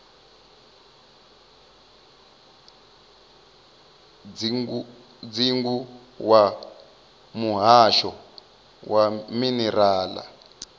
dzingu wa muhasho wa minerala